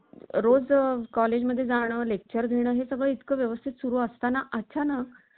ते दुधारी अस्त्र ठरण्याचा धोकाही व्यक्त केला जात आहे. परंतु तंत्रज्ञानाबाबत अशी भीती व्यक्त केली जाण्याची ही काही